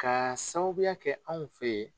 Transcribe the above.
Ka sababuya kɛ anw fe yen